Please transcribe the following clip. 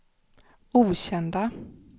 okända